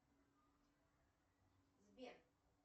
сбер